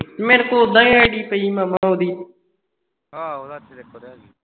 ਮੇਰੇ ਕੋਲ ਉਹਦਾ ਹੀ id ਪਈ ਹੈ ਉਹਦੀ ਆਹੋ ਸੱਚ ਤੇਰੇ ਕੋਲ ਤੇ ਹੈਗੀ